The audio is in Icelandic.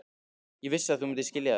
Ég vissi að þú myndir skilja þetta.